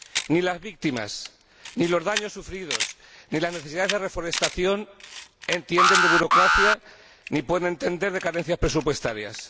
Ni las víctimas, ni los daños sufridos, ni la necesidad de reforestación entienden de burocracia, ni puede entender de carencias presupuestarias.